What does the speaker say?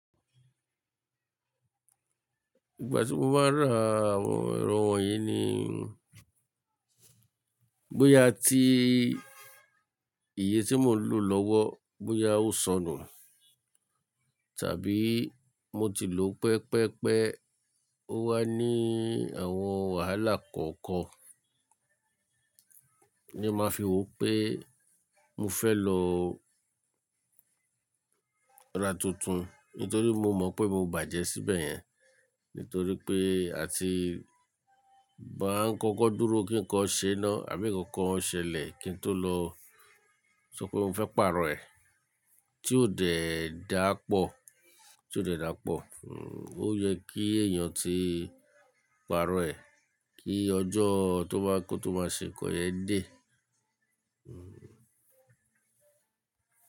Ìgbà tí mo bá ra àwọn ẹ̀ro wọ̀nyí ni bóyá tí iye tí mò ń lò lọ́wọ́ bóyá ó sọnù tàbí mo ti lòó pẹ́pẹ́pẹ́ ó wá ní àwọn wàhálà kọ̀ọ̀kan ni maa fi wòó pé mo fẹ́ lọ ra tuntun nítorí mo mọ̀ pé mo bàjẹ́ síbẹ̀ yẹn. Nítorí pé a ti máa kọ́kọ́ dúró kí nǹkan ṣe é náà àbí nǹkan ṣẹlẹ̀ kí n tó lọ sọ pé mo fẹ́ pààrọ̀ ẹ̀ tí ó dẹ̀ dáaá pọ̀, tí ó dẹ̀ dáa á pọ̀. Ó yẹ kí èèyàn tí pààrọ̀ ẹ̀ kí ọjọ́ tó bá kù tó máa ṣe nǹkan yẹn dé.